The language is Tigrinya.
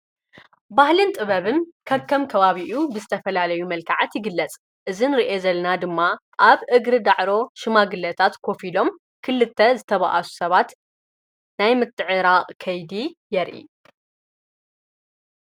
ባህልን ጥበብን ከከም ከባቢ ዝተፋላለየ መልክዓት ይግለፅ። እዚ ንሪኦ ዘለና ድማ ኣብ እግር ዳዕሮ ሽማግለታት ኮፍ ኢሎሞ ክልተ ተባእሱ ሰባት ናይ ምትዕራቕ ከይዲ የርእ።